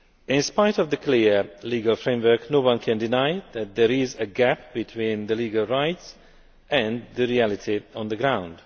In spite of the clear legal framework, no one can deny that there is a gap between the legal rights and the reality on the ground.